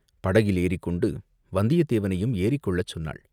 படகில் ஏறிக்கொண்டு வந்தியத்தேவனையும் ஏறிக்கொள்ளச் சொன்னாள்.